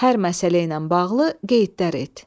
Hər məsələ ilə bağlı qeydlər et.